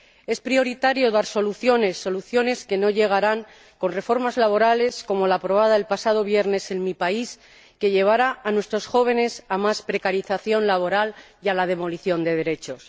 Es prioritario dar soluciones, soluciones que no llegarán con reformas laborales como la aprobada el pasado viernes en mi país, que llevará a nuestros jóvenes a más precarización laboral y a la demolición de derechos.